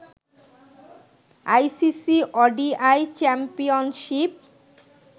ICC ODI championship